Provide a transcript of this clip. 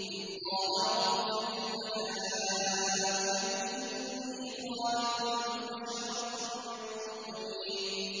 إِذْ قَالَ رَبُّكَ لِلْمَلَائِكَةِ إِنِّي خَالِقٌ بَشَرًا مِّن طِينٍ